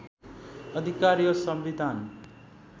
अधिकार यो संविधान